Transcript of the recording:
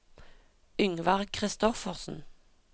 Yngvar Christoffersen